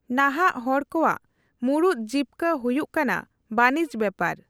ᱱᱟᱦᱟᱜ ᱦᱚᱲ ᱠᱚᱣᱟᱜ ᱢᱩᱬᱩᱫ ᱡᱤᱵᱠᱟᱹ ᱦᱩᱭᱩᱜ ᱠᱟᱱᱟ ᱵᱟᱹᱱᱤᱡ ᱵᱮᱯᱟᱨ᱾